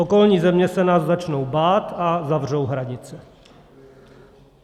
Okolní země se nás začnou bát a zavřou hranice.